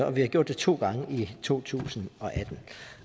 og vi gjorde det to gange i to tusind og atten